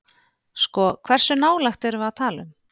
Sko hversu nálægt erum við að tala um?